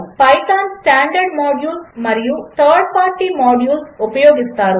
5 Python standard modules మరియు third party modules ఉపయోగిస్తారు